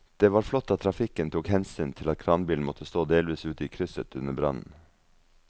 Det var flott at trafikken tok hensyn til at kranbilen måtte stå delvis ute i krysset under brannen.